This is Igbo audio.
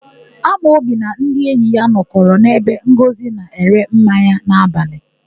Amobi na ndị enyi ya nọkọrọ n'ebe Ngọzị na-ere mmanya n'abalị.